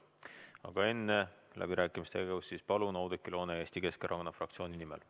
Aga enne läbirääkimistega alustamist palun Oudekki Loone Eesti Keskerakonna fraktsiooni nimel.